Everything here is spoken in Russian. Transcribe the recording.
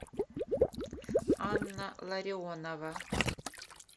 анна ларионова